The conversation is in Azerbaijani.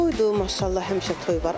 Toydur, maşallah həmişə toy var.